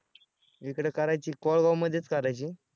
इकडं करायची कोळवामध्येच करायची आहे.